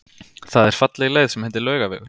Það er falleg leið sem heitir Laugavegur.